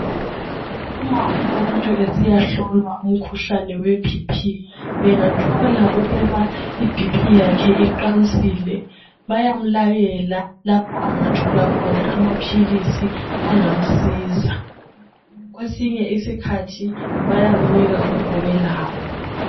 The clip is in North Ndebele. Uma umuntu esiyahlolwa umkhuhlane we"BP" bengathola ukuba i"BP" yakhe iqansile bayamlayela lapho angathola khona amaphilisi angamsiza. Kwesinye isikhathi bayamnika uma belawo.